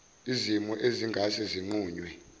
zimo ezingase zinqunywe